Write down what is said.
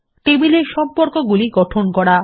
টেবিলের সম্পর্কগুলি গঠন করা